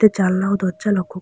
জানলা ও দরজা লক্ষ ক--